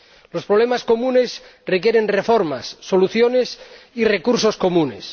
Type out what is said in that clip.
Los problemas comunes requieren reformas, soluciones y recursos comunes.